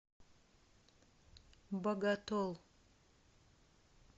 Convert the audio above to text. боготол